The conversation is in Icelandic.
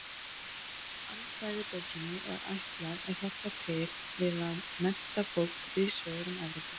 Alfræðibókinni var ætlað að hjálpa til við að mennta fólk víðs vegar um Evrópu.